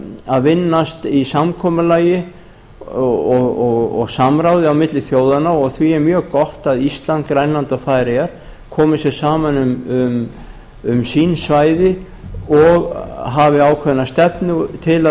að vinnast í samkomulagi og samráði á milli þjóðanna og því er mjög gott að ísland grænland og færeyjar komi sér saman um sín svæði og hafi ákveðna stefnu til